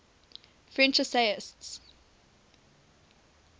french essayists